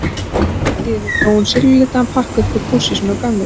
En allt í einu dró hún silfurlitan pakka upp úr pússi sínu og gaf mér.